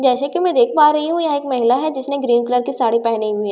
जैसे की मैं देख पा रही हूँ यहाँ एक महिला हैं जिसने ग्रीन कलर की साड़ी पेहनी हुई हैं जैसे --